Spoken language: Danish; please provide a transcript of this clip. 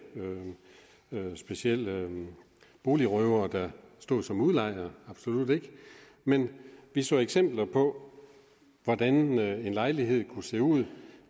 specielt boligrøvere der stod som udlejer absolut ikke men vi så eksempler på hvordan en lejlighed kunne se ud